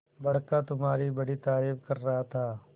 बड़का तुम्हारी बड़ी तारीफ कर रहा था